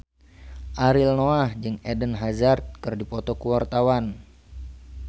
Ariel Noah jeung Eden Hazard keur dipoto ku wartawan